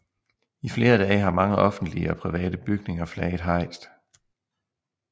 I flere dage har mange offentlige og private bygninger flaget hejst